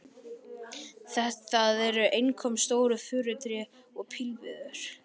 Það eru einkum stór furutré og pílviður.